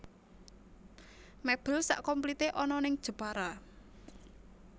Mebel sak komplite ana ning Jepara